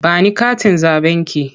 Ba ni katin zaɓenki!